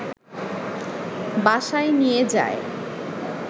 বাসায় নিয়ে যায়